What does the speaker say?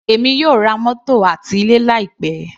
Èmi yóò ra mótò àti ilé láì pẹ́.